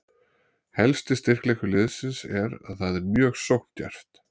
Helsti styrkleikur liðsins er að það er mjög sókndjarft.